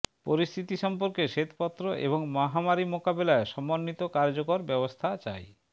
পরিস্থিতি সম্পর্কে শ্বেতপত্র এবং মহামারী মোকাবিলায় সমন্বিত কার্যকর ব্যবস্থা চাই